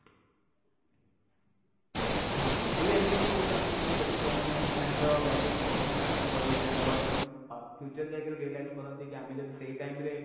ହୁଁ ମୁଁ ବି ଏମିତି ବି ବହୁତ i mean ମୁଁ ବି ଦେଖିଛି ଯୋଉ ମାନେ ମାନେ time ର value କରି ନଥାନ୍ତି ତାଙ୍କ ଇଏ time ରେ future ରେ ଯାଇକି realise କରନ୍ତି କି ଆମେ ଯଦି ସେଇ time ରେ